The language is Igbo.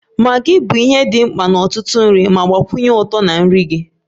Maggi bụ ihe dị mkpa n'ọtụtụ nri ma gbakwunye ụtọ na nri gị.